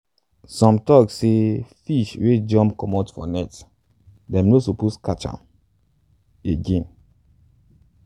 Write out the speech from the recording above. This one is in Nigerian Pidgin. some tok say fish wey jump comot for net them no suppose catch am again.